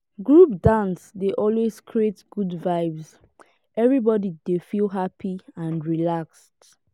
group dance dey always create good vibes everybody dey feel happy and relaxed.